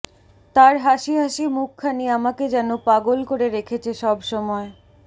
তার হাসি হাসি মুখখানি আমাকে যেন পাগল করে রেখেছে সবসময়